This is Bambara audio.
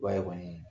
I b'a ye kɔni